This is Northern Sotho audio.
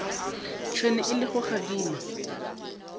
tšhwene e le go gadima